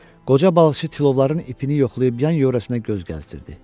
Qoca balıqçı tilovların ipini yoxlayıb yan-yörəsinə göz gəzdirdi.